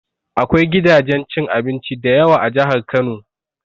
Akwai gidajen cin abinci dayawa a Jahar Kano